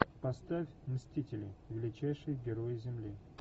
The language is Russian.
поставь мстители величайший герой земли